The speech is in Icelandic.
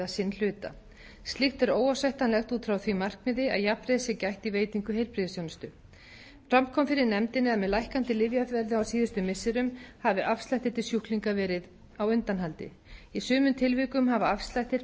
hluta slíkt er óásættanlegt út frá því markmiði að jafnræðis sé gætt í veitingu heilbrigðisþjónustu fram kom fyrir nefndinni að með lækkandi lyfjaverði á síðustu missirum hafi afslættir til sjúklinga verið á undanhaldi í sumum tilvikum hafa afslættir